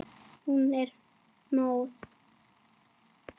Hún er móð.